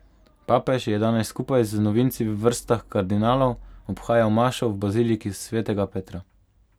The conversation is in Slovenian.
Papež je danes skupaj z novinci v vrstah kardinalov obhajal mašo v baziliki svetega Petra.